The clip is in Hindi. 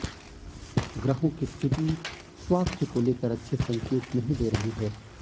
ग्रहों की स्थिति स्वास्थ्य को लेकर अच्छे संकेत नहीं दे रही है